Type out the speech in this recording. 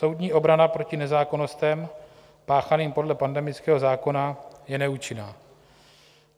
Soudní obrana proti nezákonnostem páchaným podle pandemického zákona je neúčinná.